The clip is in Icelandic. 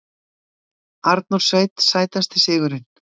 Arnór Sveinn Sætasti sigurinn?